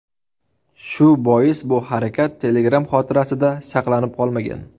Shu bois bu harakat Telegram xotirasida saqlanib qolmagan.